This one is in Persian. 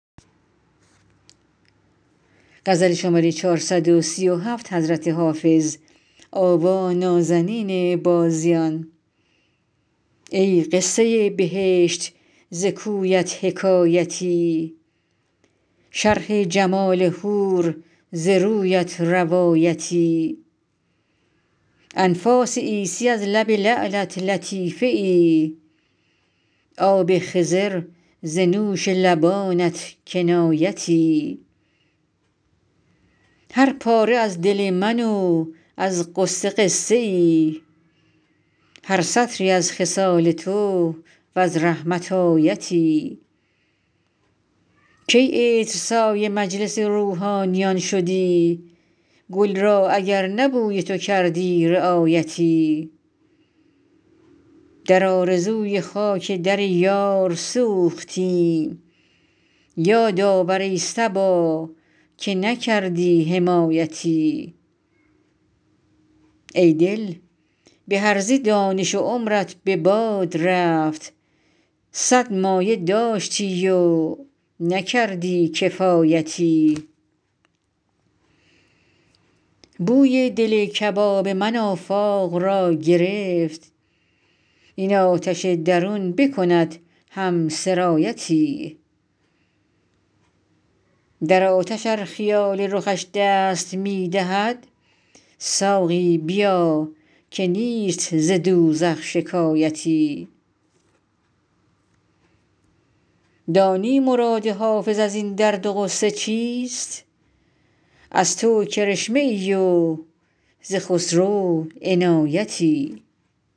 ای قصه بهشت ز کویت حکایتی شرح جمال حور ز رویت روایتی انفاس عیسی از لب لعلت لطیفه ای آب خضر ز نوش لبانت کنایتی هر پاره از دل من و از غصه قصه ای هر سطری از خصال تو و از رحمت آیتی کی عطرسای مجلس روحانیان شدی گل را اگر نه بوی تو کردی رعایتی در آرزوی خاک در یار سوختیم یاد آور ای صبا که نکردی حمایتی ای دل به هرزه دانش و عمرت به باد رفت صد مایه داشتی و نکردی کفایتی بوی دل کباب من آفاق را گرفت این آتش درون بکند هم سرایتی در آتش ار خیال رخش دست می دهد ساقی بیا که نیست ز دوزخ شکایتی دانی مراد حافظ از این درد و غصه چیست از تو کرشمه ای و ز خسرو عنایتی